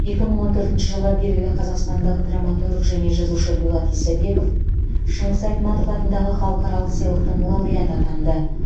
екі мың он төртінші жылы белгілі қазақстандық драматург және жазушы дулат исабеков шыңғыс айтматов атындағы халықаралық сыйлықтың лауреаты атанды